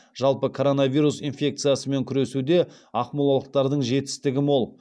жалпы коронавирус инфекциясымен күресуде ақмолалықтардың жетістігі мол